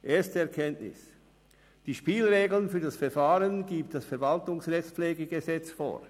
Erste Erkenntnis: Die Spielregeln für das Verfahren gibt das VRPG vor.